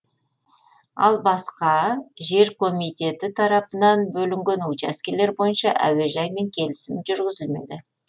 ал басқа жер комитеті тарапынан бөлінген учаскелер бойынша әуежаймен келісім жүргізілмеді